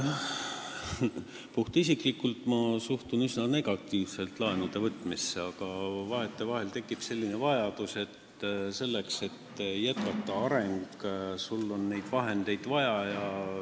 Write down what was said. Puhtisiklikult suhtun ma laenude võtmisse üsna negatiivselt, aga vahetevahel tekib selline vajadus, et arengu jätkamiseks on sul vahendeid vaja.